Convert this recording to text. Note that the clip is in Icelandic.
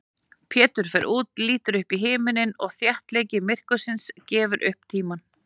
Pétur fer út, lítur upp í himininn og þéttleiki myrkursins gefur upp tímann.